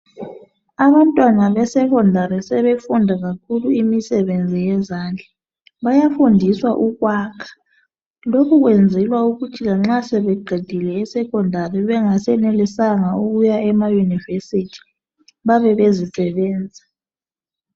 Abantwana besekhondari sebefunda kakhulu imisebenzi yezandla. Byafundiswa ukwakha. Lokhu kwenzelwa ukuthi lanxa sebeqedile eSekhondsri bengasenelisanga ukuya emaYunivesi babe bezisebenza.